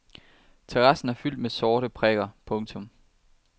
Terrassen er fyldt med sorte prikker. punktum